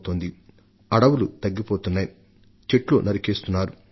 చెట్లను విచక్షణరహితంగా నరికివేస్తుండడంతో వన కవచం తరిగిపోతున్నది